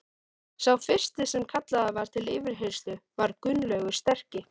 Sá fyrsti sem kallaður var til yfirheyrslu var Gunnlaugur sterki.